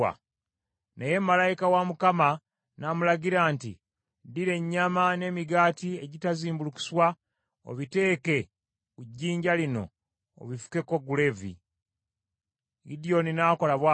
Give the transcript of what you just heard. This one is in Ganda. Naye malayika wa Katonda n’amulagira nti, “Ddira ennyama n’emigaati egitazimbulukuswa obiteeke ku jjinja lino obifukeko guleevi.” Gidyoni n’akola bw’atyo.